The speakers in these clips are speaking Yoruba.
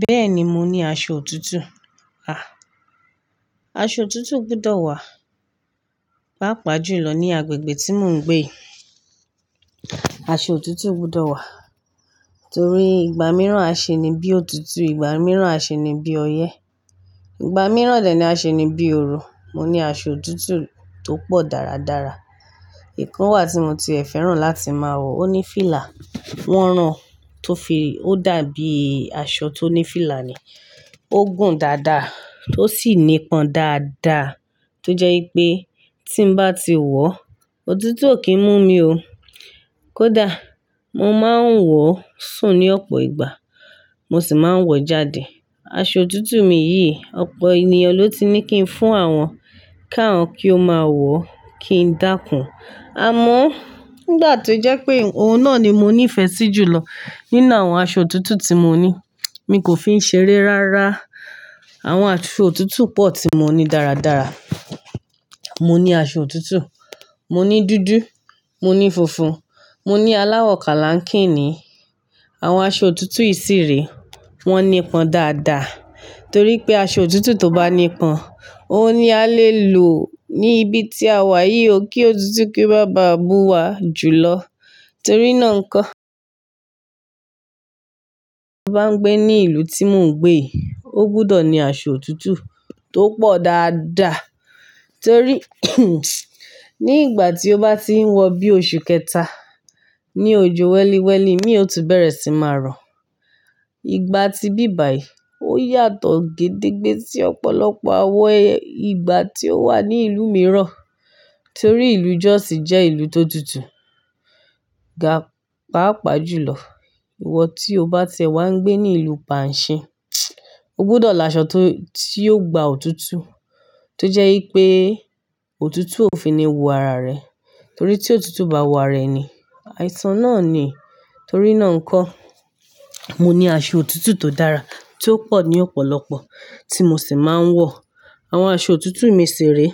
Bẹ́ẹ̀ni, mo ní aṣọ òtútù. À, aṣọ òtútù gbudọ̀ wà, pàápàá jùlọ ní agbègbè tí mò ń gbé yi. Aṣọ òtútù gbudọ̀ wà torí ìgbà mìíràn a ṣe ni bí òtútù, ìgbà mìíràn a ṣe ni bí ọyẹ́, ìgbà mìíràn dẹ ní a ṣe ni bí ooru. Mo ní aṣọ òtútù tó pọ̀ dáradára. Ìkan wà tí mo ti ẹ̀ fẹ́ràn láti máa wọ̀, ó ní fílà, wọ́n rán tó fi-- ó dàbí aṣọ tó ní fílà ni. Ó gùn dáadáa, ó sì nípọn dáadáa tó jẹ́ wipé tí n bá ti wọ̀, òtútù ò kí ń mú mi ó. Kódà mo máa ń wọ̀ sùn ní ọ̀pọ̀ ìgbà, mo sì máa ń wọ̀ jáde. Aṣọ òtútù mi yìí, ọ̀pọ̀ ènìyàn ló ti ní kí n fún àwọn káàán kí ó máa wọ̀ kí n dákùn. Àmọ́ nígbà tó jẹ́ pé òun náà ni mo ní ìfẹ́ sí jùlọ nínú àwọn aṣọ òtútù tí mo ní, mi kò fi í ṣe eré rárá. Àwọn aṣọ òtútù pọ̀ tí mo ní dáradára. Mo ní aṣọ òtútù, mo ní dúdú, mo ní funfun, mo ní aláwọ̀ kálákínì. Àwọn aṣọ òtútù yìí sì re, wọ́n nípọn dáadáa torí pé aṣọ òtútù tó bá nípọn, òun ni a lè lò ní ibi tí a wà yìí ó kí òtútù kí í o máa bàá mu wa jùlọ torí náà ń kó. Bá ń gbé ní ìlú tí mò ń gbé yi, ó gbọ́dọ̀ ní aṣọ òtútù tó pọ̀ dáadáa torí ní ìgbà tí ó bá ti ń wọ̀ bí oṣù kẹta ní ojo wẹ́líwẹ́lí, mí ò tún bẹ̀rẹ̀ sí máa rọ̀. Ìgbà tí bí bàyí ó yàtọ̀ gédégbé sí ọ̀pọ̀lọpọ̀ àwọn ìgbà tí ó wà ní ìlú mìíràn torí ìlú Jos jẹ́ ìlú tó tutù. Ga-páápàá jùlọ, ìwọ tí o bá ti ẹ̀ wá ń gbé ní ìlú panṣin, o gbọ́dọ̀ là aṣọ tó, tí yóò gba òtútù tó jẹ́ wípé òtútù ò fi ní wo ara rẹ torí tí òtútù bá wo ara rẹ̀ ni, àìsàn náà ni torí náà ń kó. Mo ní aṣọ òtútù tó dára tí ó pọ̀ ní ọ̀pọ̀lọpọ̀ tí mo sì máa ń wọ̀. Àwọn aṣọ òtútù mi sì re,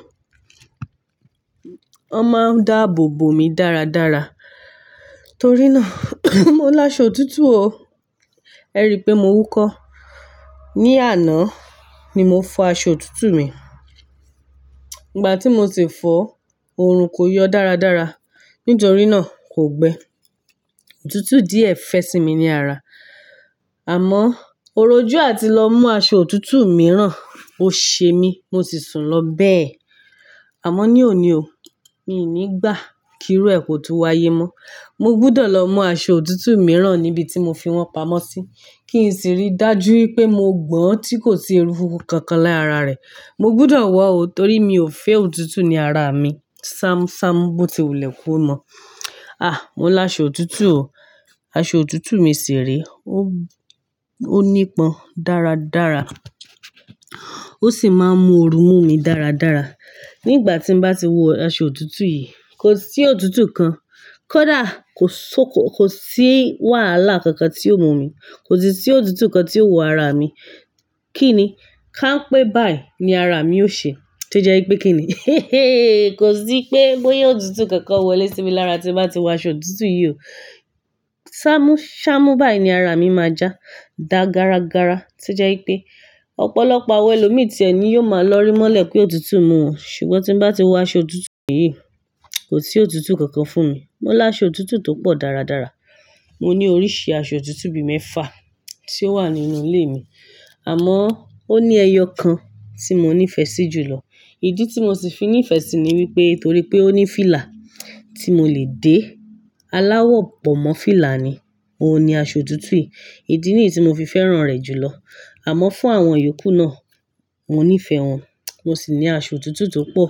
wọ́n máa ń dáàbò bó mi dáradára torí náà mo láṣọ òtútù o. Ẹ rí i pé mò wúkọ́. Ni àná ni mo fọ aṣọ òtútù mi. Ìgbà tí mo sì fọ, òòrùn kò yọ dáradára nítorí náà kò gbẹ. Òtútù díẹ̀ fẹ́ sí mi ní ara. Àmọ́ oròjú a ti lọ mú aṣọ òtútù mìíràn, ó ṣe mí, mo sì sùn lọ bẹ́ẹ̀. Àmọ́ ní òní o, mii ní gbà kí irú ẹ ko tún wáyé mọ́. Mo gbudọ̀ lọ mú aṣọ òtútù mìíràn níbi tí mo fi wọ́n pamọ́ sí kí n sì rí dájú wípé mo gbọ́n tí kò sí eruku kankan lára rẹ̀. Mo gbudọ̀ wọ̀ o torí mi ò fẹ́ òtútù ní ara mi. Sámúsámú bó ti wùlẹ̀ ko mọ. À, mo láṣọ òtútù o. Aṣọ òtútù mi ṣì re, ó, ó nípọn dáradára, ó sì máa ń mú òru mú mi dáradára. Nígbà tí n bá ti wọ aṣọ òtútù yìí, kò sí òtútù kan, kódà kò só-- kò sí wàhálà kankan tí óò mú mi, kò sí tí òtútù kan tí óò wọ ara mi. Kí ni? Ká ń pè báyìí ni ara mi ó ṣe tó jẹ́ wípé kín ní kò sí pé bóyá òtútù kankan wọlé sí mi lára tí n bá ti wọ aṣọ òtútù yìí o. Ṣámúṣámú báyìí ni ara mi máa já dáa gáragára tó jẹ́ wípé ọ̀pọ̀lọpọ̀ àwọn ẹlòmíràn tí ẹ ni yóò máa lọ rí mọ́lẹ̀ pé òtútù mú wọn. Ṣùgbọ́n tí n bá ti wọ aṣọ òtútù yìí, kò sí òtútù kankan fún mi. Mo láṣọ òtútù tó pọ̀ dáradára. Mo ní oríṣi aṣọ òtútù bí mẹ́fà tí ó wà nínú ilé mi. Àmọ́ ó ní ẹyọ kan tí mo ní ìfẹ́ sí jùlọ. Ìdí tí mo sì fi ní ìfẹ́ sí i ni wípé torí pé ó ní fílà tí mo lè dé. Aláwọ̀ bọ̀mọ́ fílà ni, óun ni aṣọ òtútù yìí. Ìdí nìyí tí mo fi fẹ́ràn rẹ̀ jùlọ. Àmọ́ fún àwọn iyokù náà, mo ní ìfẹ́ wọn, mo sì ní aṣọ òtútù tó pọ̀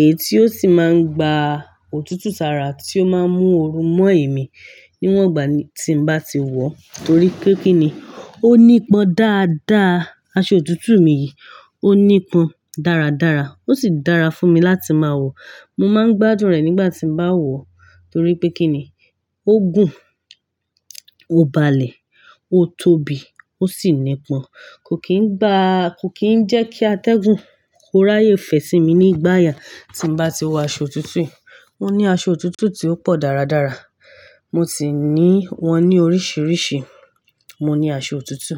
èyí tí ó sì máa ń gba òtútù sára tí ó máa ń mú òru mọ́ èmi níwọ̀n ìgbà tí n bá ti wọ̀ torí pé kín ní, ó nípọn dáadáa. Aṣọ òtútù mi yìí ó nípọn dáradára ó sì dára fún mi láti máa wọ̀. Mo máa ń gbádùn rẹ̀ nígbà tí n bá wọ̀ torí pé kín ní, ó gùn, ó balẹ̀, ó tóbi, ó sì nípọn. Kò kín ń ba-- kò kín ń jẹ́ kí atẹ́gùn kó ráyè fẹ́ sí mi nígbà ayà tí n bá ti wọ aṣọ òtútù yìí. Mo ní aṣọ òtútù tí ó pọ̀ dáradára. Mo sì ní wọn ní oríṣiríṣi. Mo ní aṣọ òtútù.